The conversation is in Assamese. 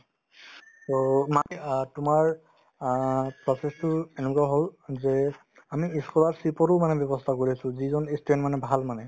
to মাটি অ তোমাৰ অ process তো এনেকুৱা হ'ল যে আমি ই scholarship ৰো মানে ব্যৱস্থা কৰি আছো যিজন ই student মানে ভাল মানে